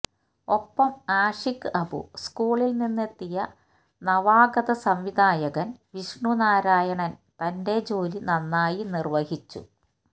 ഒപ്പം ആഷിക് അബു സ്കൂളില് നിന്നെത്തിയ നവാഗത സംവിധായകന് വിഷ്ണു നാരായണ് തന്റെ ജോലി നന്നായി നിര്വഹിച്ചു